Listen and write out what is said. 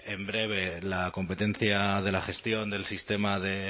en breve la competencia de la gestión del sistema de